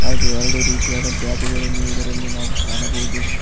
ಹಾಗೆ ಎರಡು ರೀತಿಯಾದ ಬ್ಯಾಗ್ ಗಳನ್ನು ಇದರಲ್ಲಿ ನಾವು ಕಾಣಬಹುದು.